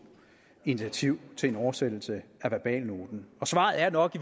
initiativ til en oversættelse af verbalnoten og svaret er nok